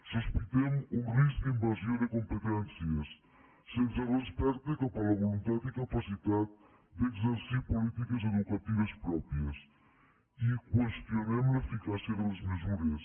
sospitem un risc d’invasió de competències sense respecte cap a la voluntat i capacitat d’exercir polítiques educatives pròpies i qüestionem l’eficàcia de les mesures